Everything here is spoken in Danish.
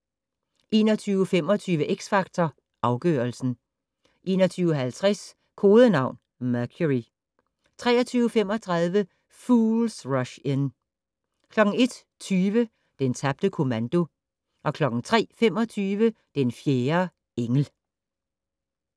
21:25: X Factor Afgørelsen 21:50: Kodenavn: Mercury 23:35: Fools Rush In 01:20: Den tabte kommando 03:25: Den fjerde engel